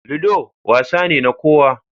Ludo wasa ne na kowa.